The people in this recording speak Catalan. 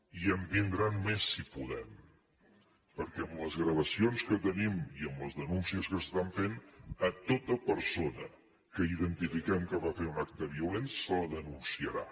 i en vindran més si podem perquè amb les gravacions que tenim i amb les denúncies que s’estan fent tota persona que identifiquem que va fer un acte violent se la denunciarà